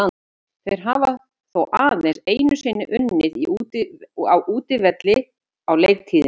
Þeir hafa þó aðeins einu sinni unnið á útivelli á leiktíðinni.